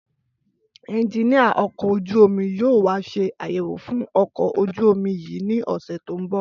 Ẹnjiníà ọkọ̀ ojú-omi yóò wá ṣe àyẹ̀wò fún ọkọ̀ ojú-omi yìí ní ọ̀sẹ̀ tó ń bọ̀